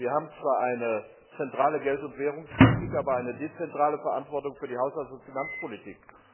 Wir haben zwar eine zentrale Geld und Währungspolitik, aber eine dezentrale Verantwortung für die Haushalts und Finanzpolitik.